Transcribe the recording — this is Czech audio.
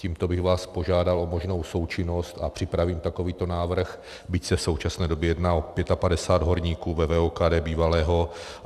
Tímto bych vás požádal o možnou součinnost a připravím takovýto návrh, byť se v současné době jedná o 55 horníků ve VOKD bývalého.